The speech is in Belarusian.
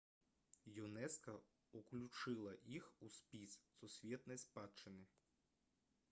юнеска ўключыла іх у спіс сусветнай спадчыны